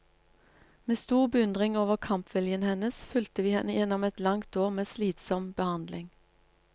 Med stor beundring over kampviljen hennes fulgte vi henne gjennom et langt år med slitsom behandling.